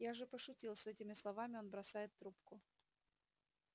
я же пошутил с этими словами он бросает трубку